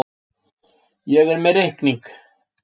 Ég er með reikning.